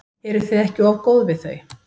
Eruð þið ekki of góð við þau?